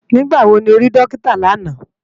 Nigbá wó ló ri Dókitá làná?